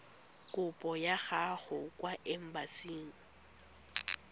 kopo ya gago kwa embasing